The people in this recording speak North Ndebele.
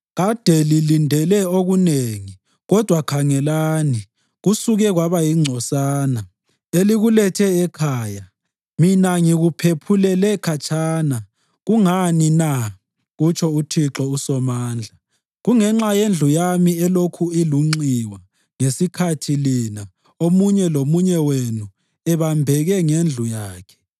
“Kade lilindele okunengi, kodwa khangelani, kusuke kwaba yingcosana. Elikulethe ekhaya, mina ngikuphephulele khatshana. Kungani na?” kutsho uThixo uSomandla. “Kungenxa yendlu yami elokhu ilunxiwa, ngesikhathi lina, omunye lomunye wenu, ebambeke ngendlu yakhe.